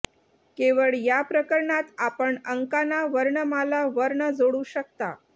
केवळ या प्रकरणात आपण अंकांना वर्णमाला वर्ण जोडू शकता